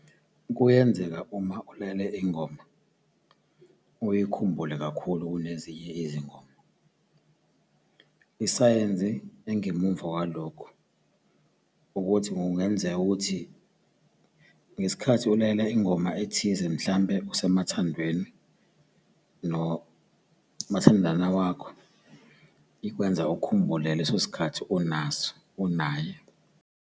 Kuyenzeka uma ulalele ingoma uyikhumule kakhulu kunezinye izingoma. Isayensi engemuva kwalokho ukuthi kungenzeka ukuthi ngesikhathi ulalela ingoma ethize mhlampe usemathandweni nomathandana wakho, ikwenza ukhumbule ngaleso sikhathi unaso unaye.